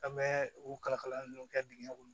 An bɛ u kalakala dɔw kɛ dingɛ kɔnɔ